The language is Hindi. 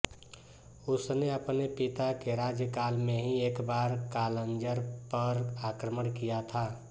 उसने अपने पिता के राज्यकाल में ही एक बार कालंजर पर आक्रमण किया था